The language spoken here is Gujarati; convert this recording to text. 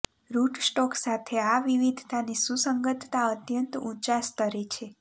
રૂટસ્ટોક સાથે આ વિવિધતાની સુસંગતતા અત્યંત ઊંચા સ્તરે છે